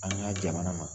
An ka jamana ma